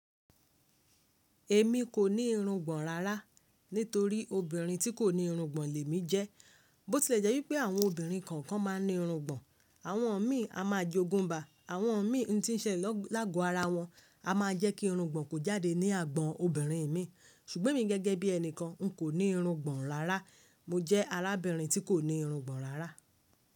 Èmi kò ní irun gbọ̀n rárá nítorí obìnrin tí kò ní irungbọ̀n lè mi jẹ́. Bó tilẹ̀ jẹ́ wípé àwọn obìnrin kọ̀ọ̀kan ma ń ní irungbọ̀n, àwọn mi a máa jẹ́ ogunba, àwọn mi tí ń ṣẹlẹ̀ lágo ara wọn a máa jẹ́ kí irungbọ̀n kò jáde ní agbọ̀n obìnrin mi. Ṣùgbọ́n èmi gẹ́gẹ́ bí enikan nkọ ní irùngbọ̀n rárá. Mo jẹ́ arábìnrin tí kò ní irungbọ̀n rárá.